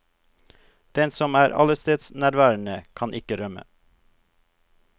Den som er allestedsnærværende, kan ikke rømme.